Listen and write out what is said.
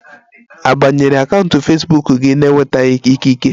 A banyere akaụntụ fesbuk gi na-enwetaghi ikike?